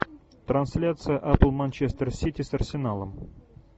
трансляция апл манчестер сити с арсеналом